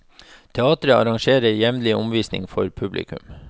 Teatret arrangerer jevnlig omvisninger for publikum.